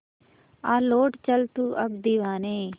आ लौट चल तू अब दीवाने